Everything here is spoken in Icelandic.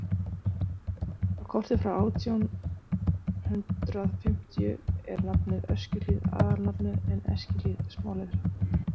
á korti frá átján hundrað fimmtíu er nafnið öskjuhlíð aðalnafnið en eskihlíð smáletrað